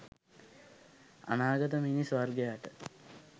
අනාගත මිනිස් වර්ගයාට